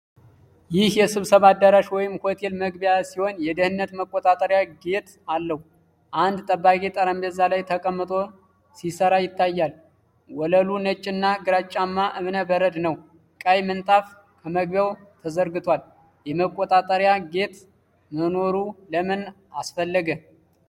ይህ የስብሰባ አዳራሽ ወይም ሆቴል መግቢያ ሲሆን የደህንነት መቆጣጠሪያ ጌት አለው። አንድ ጠባቂ ጠረጴዛ ላይ ተቀምጦ ሲሰራ ይታያል። ወለሉ ነጭና ግራጫማ ዕብነ በረድ ነው፤ ቀይ ምንጣፍ ከመግቢያው ተዘርግቷል። የመቆጣጠሪያ ጌት መኖሩ ለምን አስፈለገ?